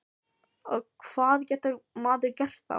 Og hvað getur maður gert þá?